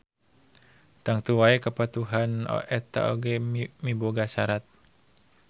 Tangtu wae kepatuhan eta oge miboga sarat